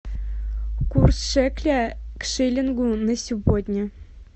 курс шекеля к шиллингу на сегодня